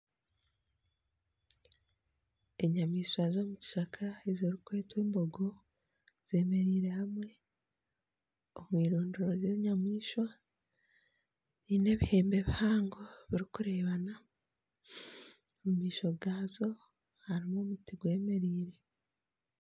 Enyamaishwa z'omu kishaka ezirikwetwa embogo zeemereire hamwe omu erindiro ry'enyamaishwa ziine ebihembe bihango birikureebana, omu maisho gaazo harimu omuti gwemereire